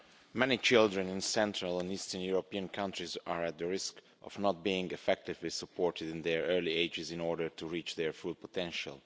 Mr President, many children in Central and Eastern European countries are at risk of not being effectively supported in their early ages in order to reach their full potential.